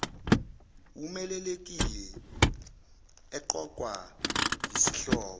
wumeluleki eqokwa yisihlobo